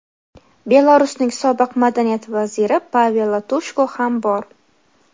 Belarusning sobiq Madaniyat vaziri Pavel Latushko ham bor.